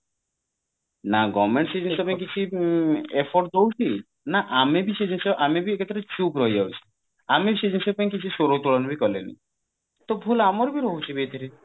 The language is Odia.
ନା government ସେ ଜିନିଷ ପାଇଁ କିଛି efforts ଦଉଛି ନା ଆମେ ବି ସେ ଜିନିଷ ଆମେ ବି ଏକାଥରେ ଚୁପ ରହି ଯାଉଛୁ ଆମେ ସେ ଜିନିଷ ପାଇଁ କିଛି ସ୍ଵର ଉତ୍ତୋଳନ ବି କଲେନି ତ ଭୁଲ ଆମର ବି ରହୁଛି ଏଥିରେ